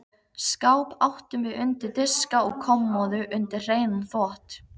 Skáp áttum við undir diska og kommóðu undir hreinan þvott.